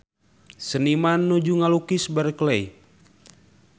Seniman nuju ngalukis Berkeley